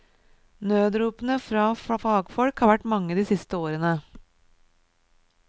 Nødropene fra fagfolk har vært mange de siste årene.